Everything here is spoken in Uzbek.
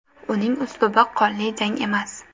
Uning uslubi qonli jang emas.